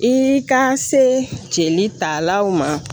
I ka se jeli talaw ma